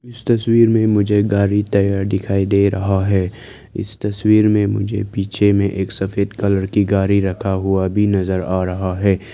इस तस्वीर मे मुझे गाड़ी टायर दिखाई दे रहा है इस तस्वीर में मुझे पीछे में एक सफेद कलर की गाड़ी रखा हुआ भी नजर आ रहा है।